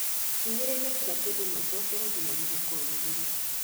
Hinyĩrĩria kila kĩndũ na ũcokere nginya mũhuko ũihũre